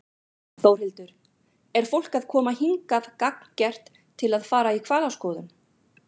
Þórhildur: Er fólk að koma hingað gagngert til að fara í hvalaskoðun?